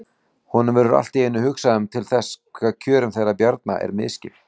Honum verður allt í einu hugsað til þess hve kjörum þeirra Bjarna er misskipt.